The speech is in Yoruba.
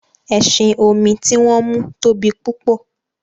ẹṣin-omi ti wón mú tóbi púpọ.